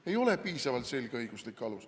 See ei ole piisavalt selge õiguslik alus.